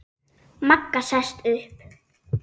Magga sest upp.